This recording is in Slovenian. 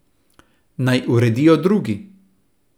Naj uredijo drugi.